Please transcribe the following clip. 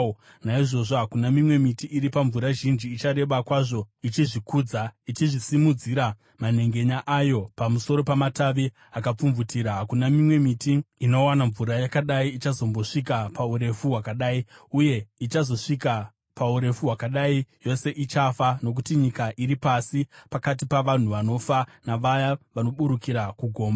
Naizvozvo hakuna mimwe miti iri pamvura zhinji ichareba kwazvo ichizvikudza, ichizvisimudzira manhengenya ayo pamusoro pamatavi akapfumvutira. Hakuna mimwe miti inowana mvura yakadai ichazombosvika paurefu hwakadai; yose ichafa, nokuti nyika iri pasi, pakati pavanhu vanofa, navaya vanoburukira kugomba.